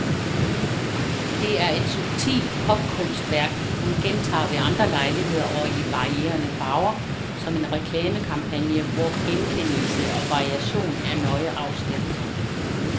Det er et subtilt popkunstværk, hun gentager ved andre lejligheder og i varierende farver, som en reklamekampagne, hvor genkendelse og variation er nøje afstemt.